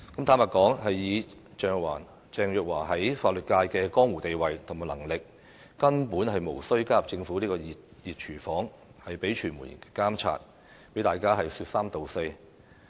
坦白說，以鄭若驊在法律界的江湖地位及能力，根本無須加入政府這個"熱廚房"，被傳媒監察，被大家說三道四。